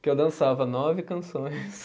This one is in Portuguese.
Que eu dançava nove canções.